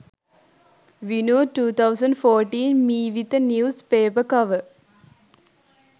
vinu 2014 meevitha news paper cover